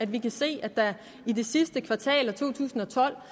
vi kan se at der i det sidste kvartal af to tusind og tolv